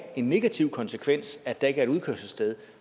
en negativ konsekvens at der ikke er et udkørselssted